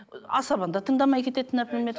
асабаны да тыңдамай кетеді например